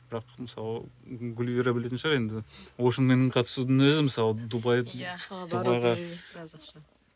бірақ мысалы гүлвира білетін шығар енді оушнмен қатысудың өзі мысалы